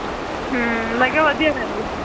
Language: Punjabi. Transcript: ਹੂ ਮੈਂ ਕਿਹਾ ਵਧੀਆ ਰਹਿੰਦਾ ਹੈ